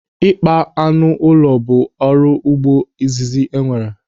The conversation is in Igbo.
Ịkpa anụ ụlọ bụ ọrụ ugbo izizi enwere.